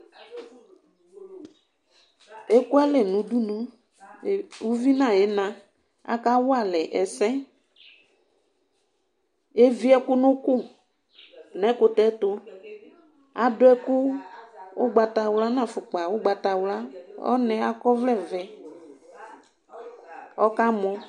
uvi nʊ ina ekualɛ, nʊ udunu, kʊ akawalɛ ɛsɛ, evie ɛkʊ nʊ ʊkʊ, nʊ ɛkʊtɛ ɛtʊ, adʊ ɛkʊ ugbatawla nʊ ɛlɛnuti ugbatawla, ɔna yɛ akɔ ɔvlɛ vɛ kʊ ɔkamɔ